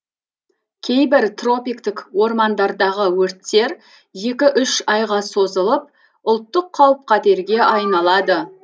кейбір тропиктік ормандардағы өрттер екі үш айға созылып ұлттық қауіп қатерге айналады